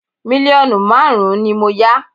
Mílíọ̀nù márùn-ún ni mo yá